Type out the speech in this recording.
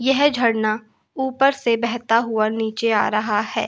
यह झरना ऊपर से बहता हुआ नीचे आ रहा है।